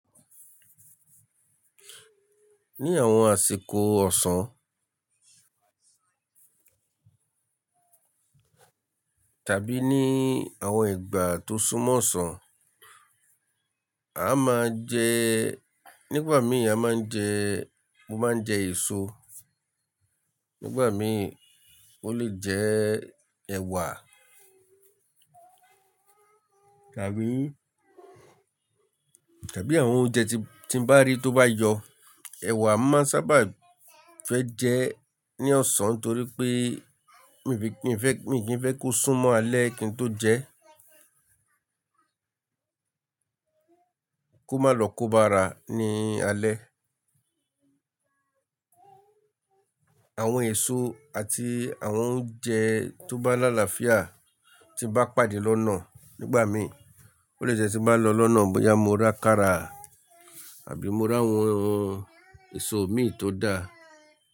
Ní àwọn àsìkò ọ̀sán tàbí ní àwọn ìgbà tó sún mọ́ ọ̀sán, a máa jẹ-- nígbà mí, a máa ń jẹ, mo máa ń jẹ èso. Nígbà mi, ó lè jẹ ẹ̀wà tàbí, tàbí àwọn oúnjẹ tí n bá rí tó bá yọ. Ẹ̀wà máa ń sábà fẹ́ jẹ ní ọ̀sán ńtorí pé mi fẹ́, mi kì í ń fẹ́ kó sún mọ́ alẹ́ kí n tó jẹ ẹ́. Kó má lọ kó bá’ra ní alẹ́. Àwọn èso àti àwọn oúnjẹ tó bá láàláfíà tí bá pàdé lọ́nà nígbà mi, ó lè jẹ tí bá n lọ lọ́nà bóyá mo rà kára àbí mo r’àwọn èso mi tó dáa.